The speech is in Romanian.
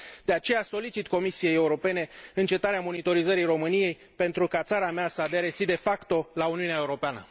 De aceea solicit Comisiei Europene încetarea monitorizării României, pentru ca țara mea să adere, și de facto la Uniunea Europeană.